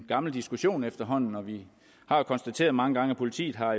gammel diskussion efterhånden og vi har jo konstateret mange gange at politiet har